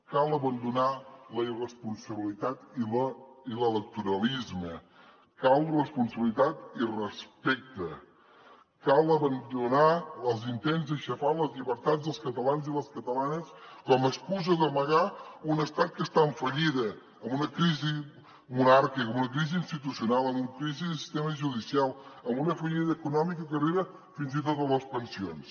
cal abandonar la irresponsabilitat i l’electoralisme cal responsabilitat i respecte cal abandonar els intents d’aixafar les llibertats dels catalans i les catalanes com a excusa per amagar un estat que està en fallida amb una crisi monàrquica amb una crisi institucional amb una crisi del sistema judicial amb una fallida econòmica que arriba fins i tot a les pensions